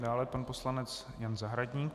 Dále pan poslanec Jan Zahradník.